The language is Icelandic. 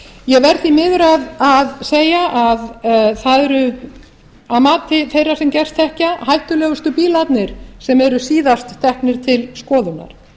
ég verð því miður að segja að það eru að mati þeirra sem gerst þekkja hættulegustu bílarnir sem eru síðast teknir til skoðunar